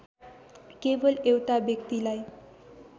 केवल एउटा व्यक्तिलाई